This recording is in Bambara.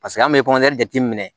Paseke an bɛ jateminɛ